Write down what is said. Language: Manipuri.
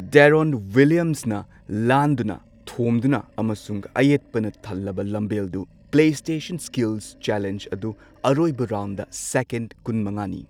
ꯗꯦꯔꯣꯟ ꯋꯤꯜꯂꯤꯌꯝꯁꯅ ꯂꯥꯟꯗꯨꯅ, ꯊꯣꯝꯗꯨꯅ ꯑꯃꯁꯨꯡ ꯑꯌꯦꯠꯄꯅ ꯊꯜꯂꯕ ꯂꯝꯕꯦꯜꯗꯨ ꯄ꯭ꯂꯦꯁ꯭ꯇꯦꯁꯟ ꯁ꯭ꯀꯤꯜꯁ ꯆꯦꯂꯦꯟꯖ ꯑꯗꯨ ꯑꯔꯣꯏꯕ ꯔꯥꯎꯟꯗ ꯁꯦꯀꯦꯟ ꯀꯨꯟꯃꯉꯥꯅꯤ꯫